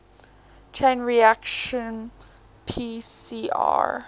chain reaction pcr